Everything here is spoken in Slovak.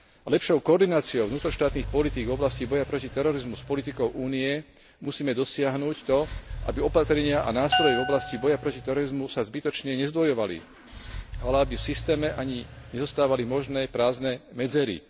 Lepšou koordináciou vnútroštátnych politík v oblasti boja proti terorizmu s politikou Únie musíme dosiahnuť to, aby opatrenia a nástroje v oblasti boja proti terorizmu sa zbytočne nezdvojovali, ale aby v systéme ani nezostávali možné prázdne medzery.